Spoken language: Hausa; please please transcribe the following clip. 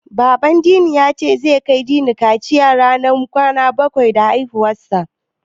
Baban Dini ya ce, zai kai Dini kaciya ranar kwana bakwai da haihuwarsa.